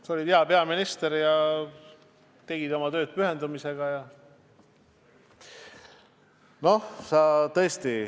Sa olid hea peaminister ja tegid omad tööd pühendunult.